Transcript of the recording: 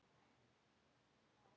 Blandið öllu varlega saman.